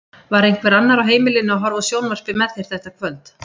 Var einhver annar á heimilinu að horfa á sjónvarpið með þér þetta kvöld?